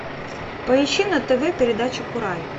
поищи на тв передачу курай